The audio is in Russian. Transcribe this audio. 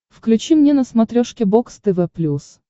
включи мне на смотрешке бокс тв плюс